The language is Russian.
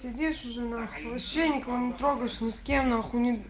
сидишь уже на х вообще никого не трогаешь не с кем